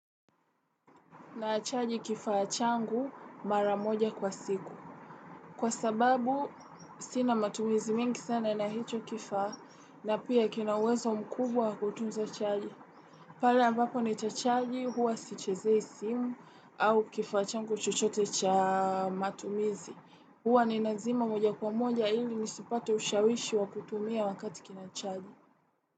Naa chaji kifaa changu mara moja kwa siku. Kwa sababu sina matumizi mingi sana na hicho kifaa na pia kina uwezo mkubwa kutunza chaji. Pale ambapo nitachaji huwa sichezei simu au kifaa changu chochote cha matumizi. Huwa ni nazima moja kwa moja ili nisipate ushawishi wa kutumia wakati kina chaji.